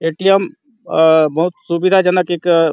ए _T _M अ बहुत सुविधाजनक एक क --